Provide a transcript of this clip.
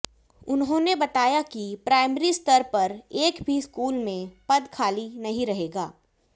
उन्होने बताया कि प्राईमरी स्तर पर एक भी स्कूल में पद खाली नही रहेगा